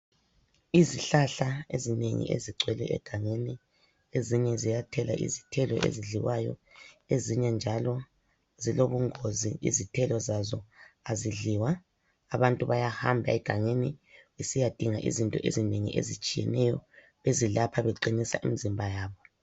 Izihlahla ezinengi ezigcwele egangeni ezinye ziyathela izithelo ezidliwayo. Ezinye njalo zilobungozi, izithelo zazo azidliwa. Abantu bayahamba egangeni besiyadinga izinto ezinengi ezitshiyeneyo ezelapha beqinisa imizimba yabo.